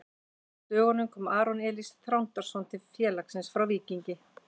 Á dögunum kom Aron Elís Þrándarson til félagsins frá Víkingi.